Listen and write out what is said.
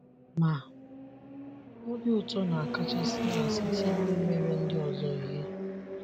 Ma, obi ụtọ na akachasi na site n’imere ndi ọzọ ihe.